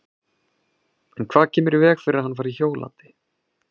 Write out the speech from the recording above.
En hvað kemur í veg fyrir að hann fari hjólandi?